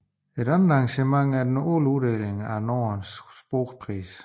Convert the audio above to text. Et andet arrangement er den årlige uddeling af Norden Sprogpris